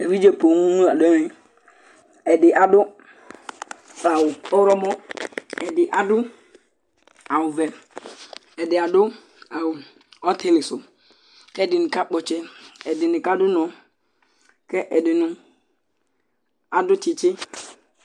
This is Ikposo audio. Evidze poo la du ɛmɛ Ɛdí adu awu ɔwlɔmɔ Ɛdí adu awu vɛ Ɛdí adu awu ɔtili su kʋ ɛdiní kakpɔ ɔtsɛ Ɛdiní kadu ʋnɔ Ɛdiní adu tsitsi